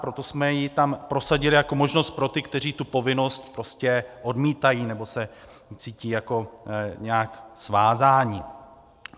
Proto jsme ji tam prosadili jako možnost pro ty, kteří tu povinnost prostě odmítají nebo se cítí jako nějak svázáni.